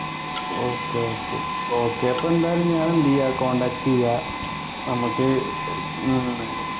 okay okay okay അപ്പൊ എന്തായാലും ഞാൻ എന്ത് ചെയ്യാ contact ചെയ്യാ നമ്മക്ക് ഏർ എണ്